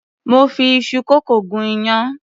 Mo fi iṣu kókò gún iyán.